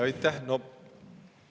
Aitäh!